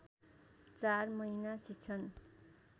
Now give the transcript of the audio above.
चार महिना शिक्षण